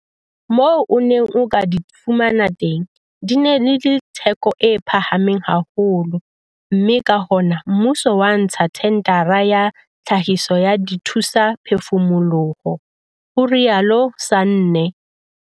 "Moo o neng o ka di fumana teng, di ne di le theko e phahameng haholo mme ka hona mmuso wa ntsha thendara ya tlhahiso ya dithusaphefumoloho," ho rialo Sanne.